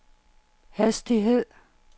hastighed